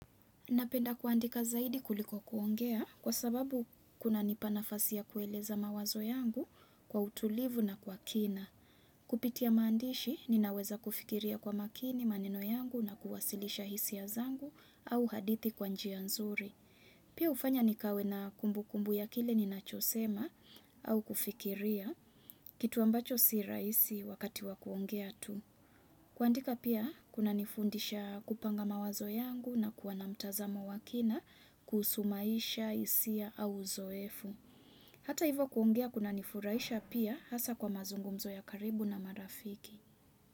Napenda kuandika zaidi kuliko kuongea kwa sababu kuna nipa nafasi ya kueleza mawazo yangu kwa utulivu na kwa kina. Kupitia maandishi ninaweza kufikiria kwa makini maneno yangu na kuwasilisha hisia zangu au hadithi kwa njia nzuri. Pia ufanya nikawe na kumbu kumbu ya kile ninachosema au kufikiria kitu ambacho si rahisi wakati wakuongea tu. Kuandika pia kuna nifundisha kupanga mawazo yangu na kua na mtazamo wa kina kuhusu maisha, hisia au uzoefu. Hata hivo kuongea kuna nifuraisha pia hasa kwa mazungumzo ya karibu na marafiki.